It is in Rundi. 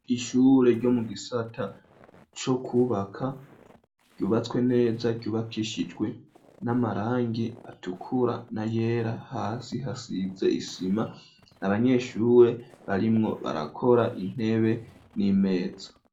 Ishuri ryo mu gisata co kubaka ryubatswe neza ryubakishijwe n'amarangi atukura n’ayera hasi hasize isima n,abanyeshure barimwo barakora intebe n'imeza.